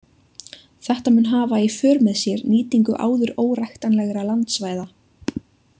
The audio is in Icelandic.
Þetta mun hafa í för með sér nýtingu áður óræktanlegra landsvæða.